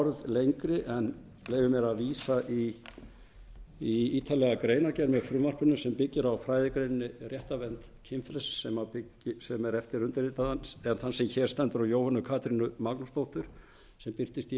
orð lengri en leyfi mér að vísa í ítarlega greinargerð með frumvarpinu sem byggir á fræðigreininni réttarvernd kynfrelsis sem er eftir undirritaðan eða þann sem hér stendur og jóhönnu katrínu magnúsdóttur sem birtist í